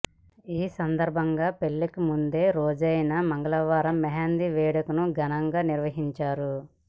ఈ సందర్భంగా పెళ్లికి ముందురోజైన మంగళవారం మెహందీ వేడుకను ఘనంగా నిర్వహించారు